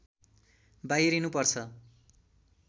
बाहिरिनु पर्छ